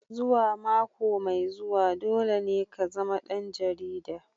Zuwa mako mai zuwa dole ne ka zama ɗan jarida.